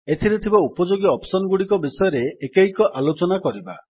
ଏଥିରେ ଥିବା ଉପଯୋଗୀ ଅପ୍ସନ୍ ଗୁଡିକ ବିଷୟରେ ଏକୈକ ଆଲୋଚନା କରିବା